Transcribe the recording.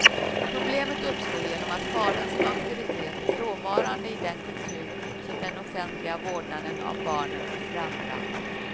Problemet uppstår genom att fadern som auktoritet är frånvarande i den kultur som den offentliga vårdnaden av barnen frambragt.